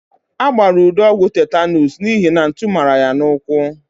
A gbara Udo ọgwụ tetanuus n'ihi na ntu mara ya n'ụkwụ.